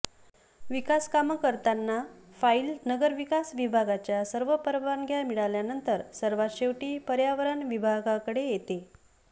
विकासकामं करताना फाईल नगरविकास विभागाच्या सर्व परवानग्या मिळाल्यानंतर सर्वात शेवटी पर्यावरण विभागाकडे येते